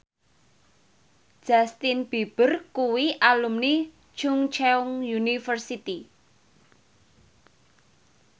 Justin Beiber kuwi alumni Chungceong University